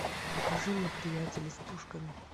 покажи мне приятели с пушками